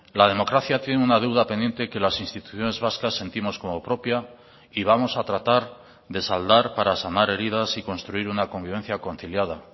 la democracia tiene una deuda pendiente que las instituciones vascas sentimos como propia y vamos a tratar de saldar para sanar heridas y construir una convivencia conciliada